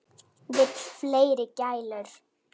Vill fleiri gælur.